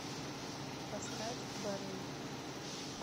поставь барей